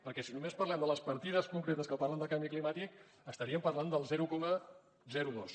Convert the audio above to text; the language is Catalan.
perquè si només parléssim de les partides concretes que parlen de canvi climàtic estaríem parlant del zero coma dos